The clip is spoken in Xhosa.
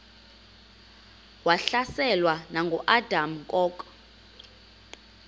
wahlaselwa nanguadam kok